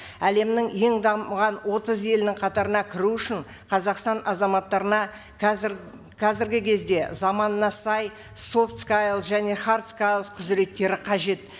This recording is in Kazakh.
әлемнің ең дамыған отыз елінің қатарына күру үшін қазақстан азаматтарына қазір қазіргі кезде заманына сай софт және хард құзыреттері қажет